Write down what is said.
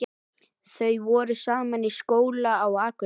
Þau voru saman í skóla á Akureyri.